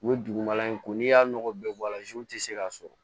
U ye dugumala in ko n'i y'a nɔgɔ bɛɛ bɔ a la tɛ se ka sɔrɔ